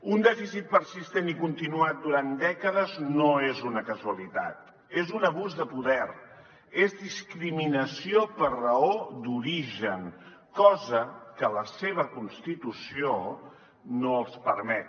un dèficit persistent i continuat durant dècades no és una casualitat és un abús de poder és discriminació per raó d’origen cosa que la seva constitució no els permet